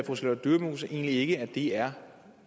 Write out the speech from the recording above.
fru charlotte dyremose egentlig ikke at det er